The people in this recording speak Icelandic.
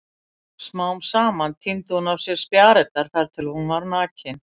Smám saman tíndi hún af sér spjarirnar þar til hún var nakin.